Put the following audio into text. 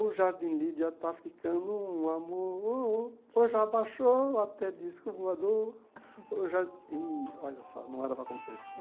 O Jardim Lídia está ficando um amor oh Já baixou até disco voador Olha só, não era para acontecer isso.